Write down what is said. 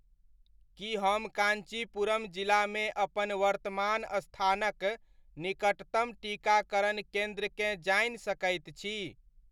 की हम कान्चीपुरम जिलामे अपन वर्तमान स्थानक निकटतम टीकाकरण केन्द्रकेँ जानि सकैत छी?